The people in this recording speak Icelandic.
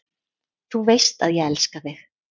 Þú veist að ég elska þig.